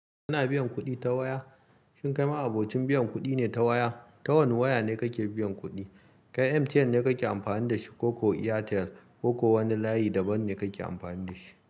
Ana biyan kuɗi ta waya. Shin kai ma abocin biyan kuɗi ne ta waya? Ta wane waya ne kake biyan kuɗi? Kai MTN ne kake amfani da shi ko ko Airtel ko ko wani layi daban ne kake amfani da shi?